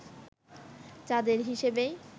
চাঁদের হিসেবেই